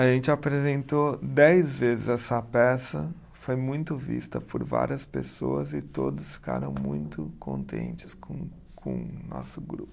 A gente apresentou dez vezes essa peça, foi muito vista por várias pessoas e todos ficaram muito contentes com com o nosso grupo.